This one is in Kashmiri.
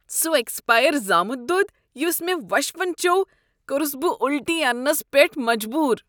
سَہ ایکسپیر زامت دۄد یَس مےٚ وشفن چیوٚو کوٚرُس بہٕ وُلٹی اننس پیٹھ مجبور ۔